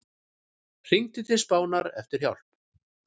Hringdi til Spánar eftir hjálp